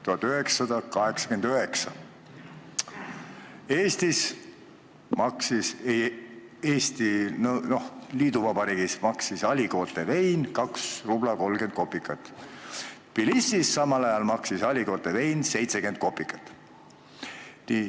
1989. aastal maksis Eestis, liiduvabariigis, Aligoté vein 2 rubla 30 kopikat, Tbilisis maksis Aligoté vein samal ajal 70 kopikat.